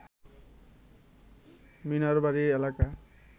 মিনার বাড়ি এলাকা